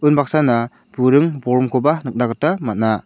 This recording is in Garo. unbaksana buring bolgrimkoba nikna gita man·a.